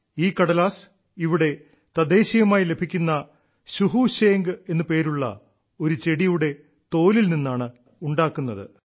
ഈ കടലാസ് ഇവിടെ തദ്ദേശീയമായി ലഭിക്കുന്ന ശുഹു ശേംഗ് എന്നു പേരുള്ള ഒരു ചെടിയുടെ തോലിൽ നിന്നാണ് ഉണ്ടാക്കുന്നത്